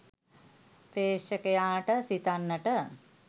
ප්‍රේක්ෂකයාට සිතන්නට